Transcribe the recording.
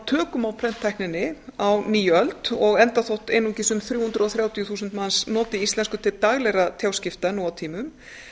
tökum á prenttækninni á nýöld og enda þótt einungis um þrjú hundruð og þrjátíu þúsund manns noti íslensku til daglegra tjáskipta nú á tímum